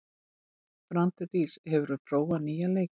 Branddís, hefur þú prófað nýja leikinn?